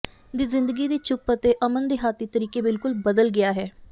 ਦੀ ਜ਼ਿੰਦਗੀ ਦੀ ਚੁੱਪ ਅਤੇ ਅਮਨ ਦਿਹਾਤੀ ਤਰੀਕੇ ਬਿਲਕੁਲ ਬਦਲ ਗਿਆ ਹੈ